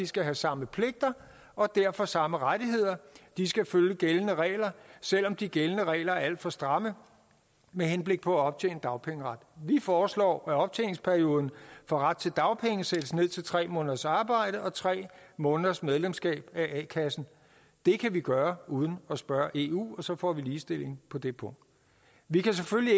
skal have samme pligter og derfor samme rettigheder de skal følge gældende regler selv om de gældende regler er alt for stramme med henblik på at optjene dagpengeret vi foreslår at optjeningsperioden for ret til dagpenge sættes ned til tre måneders arbejde og tre måneders medlemskab af a kassen det kan vi gøre uden at spørge eu og så får vi ligestilling på det punkt vi kan selvfølgelig